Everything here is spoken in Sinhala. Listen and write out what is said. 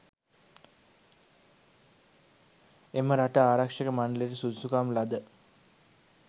එම රට ආරක්‍ෂක මණ්ඩලයට සුදුසුකම් ලද